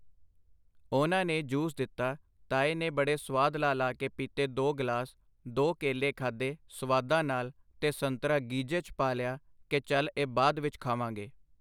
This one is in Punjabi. ਉਹਨਾਂ ਨੇ ਜੂਸ ਦਿੱਤਾ ਤਾਏ ਨੇ ਬੜੇ ਸਵਾਦ ਲਾ ਲਾ ਕੇ ਪਿਤੇ ਦੋ ਗਲਾਸ, ਦੋ ਕੇਲੇ ਖਾਦੇ ਸਵਾਦਾਂ ਨਾਲ ਤੇ ਸੰਤਰਾ ਗੀਜੇ 'ਚ ਪਾ ਲਿਆ ਕਿ ਚੱਲ ਇਹ ਬਾਅਦ ਵਿੱਚ ਖਾਵਾਂਗੇ.